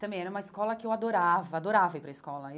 Também era uma escola que eu adorava, adorava ir para a escola.